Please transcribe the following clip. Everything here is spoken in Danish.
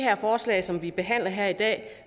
forslag som vi behandler her i dag